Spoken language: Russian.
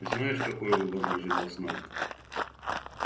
и знаешь какой выбор лежит в основе